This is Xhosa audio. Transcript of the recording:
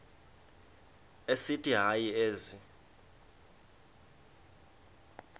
esithi hayi ezi